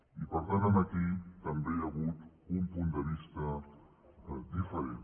i per tant aquí també hi ha hagut un punt de vista diferent